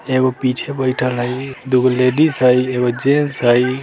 एगो पीछे बैठएल हई दुगो लेडीज हई एगो जेंट्स हई।